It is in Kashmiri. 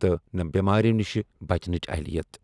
تہٕ نہٕ بیمارِیو نِشہِ بچنٕچ اہلِیت ۔